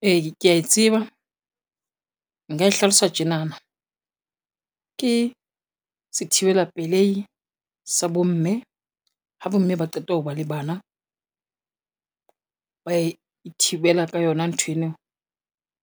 E ke ya e tseba, nka e hlalosa tjenana, ke sethibela pelehi sa bomme ha bomme ba qeta ho ba le bana, ba ithibela ka yona nthweno,